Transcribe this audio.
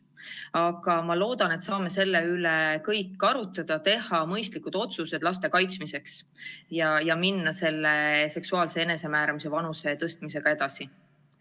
Aga ma loodan, et me saame selle üle arutleda, teha mõistlikud otsused laste kaitsmiseks ja minna seksuaalse enesemääramise vanusepiiri tõstmisega edasi.